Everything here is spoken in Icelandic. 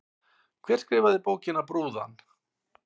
Hver skrifaði bókina Brúðan?